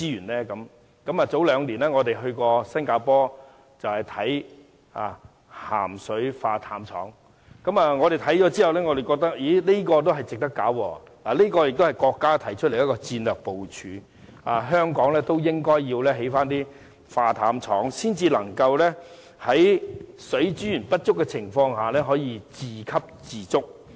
兩年前，我們曾到新加坡參觀海水化淡廠，我們看過後覺得這是值得興建的，這也是國家提出的戰略部署建議，認為香港應該興建海水化淡廠，才能在水資源不足的情況下可以自給自足。